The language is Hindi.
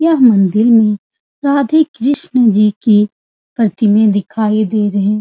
यह मंदिर में राधे-कृष्ण जी के प्रतिमे दिखाई दे रहे --